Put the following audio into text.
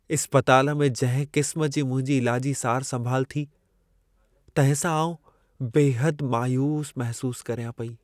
इस्पताल में जंहिं क़िस्म जी मुंहिंजी इलाजी सार संभाल थी, तंहिं सां आउं बेहदि मायूसु महिसूसु करियां पेई।